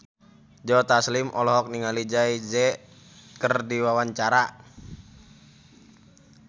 Joe Taslim olohok ningali Jay Z keur diwawancara